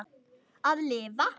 Að lifa?